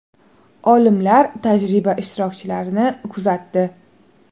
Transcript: Olimlar tajriba ishtirokchilarini kuzatdi.